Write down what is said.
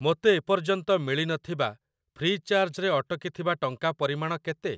ମୋତେ ଏ ପର୍ଯ୍ୟନ୍ତ ମିଳି ନଥିବା, ଫ୍ରି ଚାର୍ଜ୍ ରେ ଅଟକିଥିବା ଟଙ୍କା ପରିମାଣ କେତେ?